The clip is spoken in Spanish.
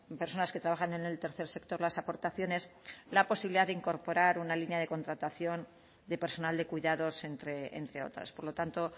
personas que trabajan en el tercer sector las aportaciones la posibilidad de incorporar una línea de contratación de personal de cuidados entre otras por lo tanto